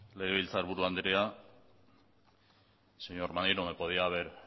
legebiltzarburu andrea señor maneiro me podía haber